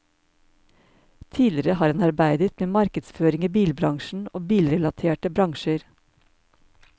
Tidligere har han arbeidet med markedsføring i bilbransjen og bilrelaterte bransjer.